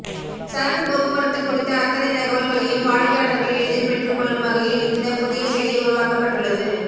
சரக்கு போக்குவரத்து குறித்த அத்தனை தகவல்களையும் வாடிக்கையாளர்கள் எளிதில் பெற்றுக் கொள்ளும் வகையில் இந்த புதிய செயலி உருவாக்கப்பட்டுள்ளது